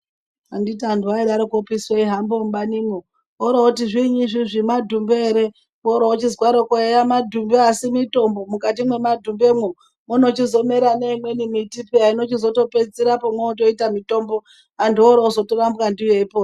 Anditi antu aidaro eihamba mubaniwo orooti zviinyi izvozvi madhimbe ere horochizwato eya madhumbe asi mitombo mukati memadhumbemwo munochizomera neimweni miti mwotopedzisira mwotoita mitombo vantu vopedzisira veirapwa ndiyo veipona.